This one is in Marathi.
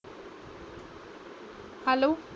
हॅलो